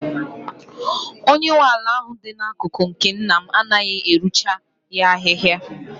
Onye nwe ala ahụ dị n'akụkụ nke nna m anaghị arụcha ya ahịhịa.